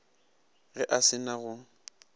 ge a se na go